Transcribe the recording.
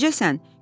Necəsən?